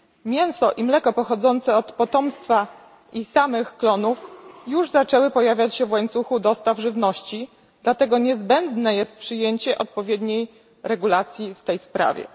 Mięso i mleko pochodzące od potomstwa i samych klonów już zaczęły pojawiać się w łańcuchu dostaw żywności, dlatego niezbędne jest przyjęcie odpowiedniej regulacji w tej sprawie.